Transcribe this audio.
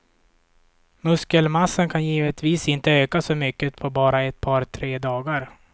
Muskelmassan kan givetvis inte öka så mycket på bara ett par, tre dagar.